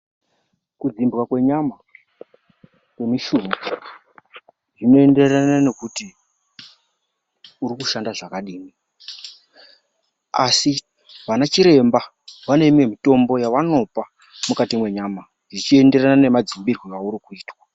Kudzimbwa kwenyama kwemushuna zvinoenderana nekuti urikushanda zvakadini. Asi vanachiremba vaneimwe mitombo yavanopa mukati mwenyama zvichienderane nemadzimbire auri kuitwa.